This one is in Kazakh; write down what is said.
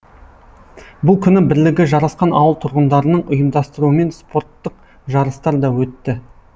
бұл күні бірлігі жарасқан ауыл тұрғындарының ұйымдастыруымен спорттық жарыстар да өтті